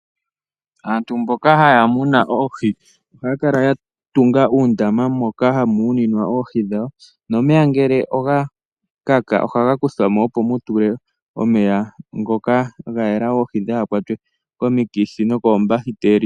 Aantu mboka haya muna ihaya kala ya tunga uundama moka hamu muninwa oohi dhawo nomeya ngele oga kaka ohaga kuthwa mo opo mu tulwe omeya ngoka ga yela opo dhaa kwatwe komikithi nokoombakiteli.